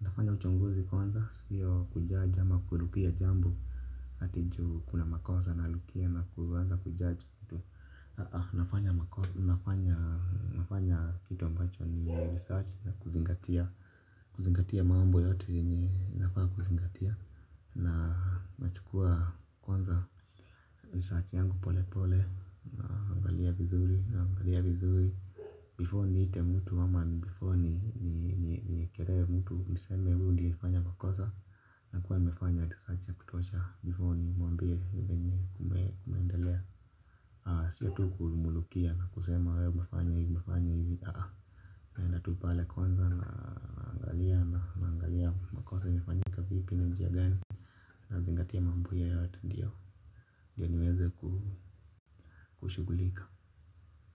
Nafanya uchunguzi kwanza sio kujudge ama kurukia jambo ati ju kuna makosa na rukia na kuanza kujudge mtu. Nafanya kitu ambacho ni research na kuzingatia. Kuzingatia mambo yote yenye nafaa kuzingatia. Na nachukua kwanza research yangu pole pole. Na angalia vizuri na angalia vizuri Before niite mtu ama before niekele mtu. Niseme huyu ndiye alifanya makosa. Na kuwa nimefanya research ya kutuosha Before nimwambie venye kumeendelea. Sio tu kumrukia na kusema wewe umefanya hivi. Naenda tu pale kwanza na angalia na angalia makosa imefanyika vipi na njia gani na zingati ya mambo hiyo yote ndiyo ndiyo niweze kushugulika.